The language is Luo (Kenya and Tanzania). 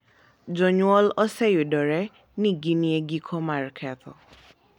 Jonyuol oseyudore ni gin e giko mar ketho